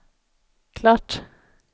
klart